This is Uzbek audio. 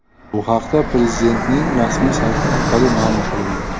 Bu haqda Prezidentning rasmiy sayti orqali ma’lum qilindi .